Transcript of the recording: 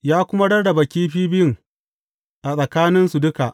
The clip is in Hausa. Ya kuma rarraba kifi biyun a tsakaninsu duka.